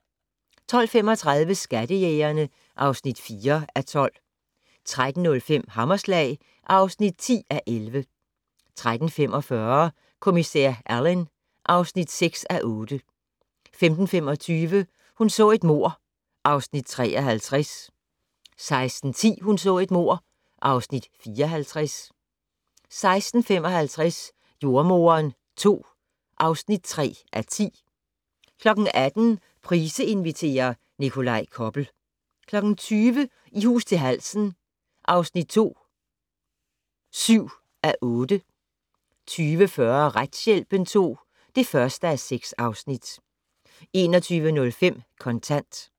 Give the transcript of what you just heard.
12:35: Skattejægerne (4:12) 13:05: Hammerslag (10:11) 13:45: Kommissær Alleyn (6:8) 15:25: Hun så et mord (Afs. 53) 16:10: Hun så et mord (Afs. 54) 16:55: Jordemoderen II (3:10) 18:00: Price inviterer - Nikolaj Koppel 20:00: I hus til halsen II (7:8) 20:40: Retshjælpen II (1:6) 21:05: Kontant